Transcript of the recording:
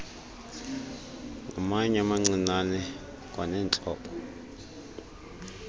ngamatye amancinane kwaneentlobo